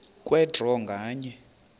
kwe draw nganye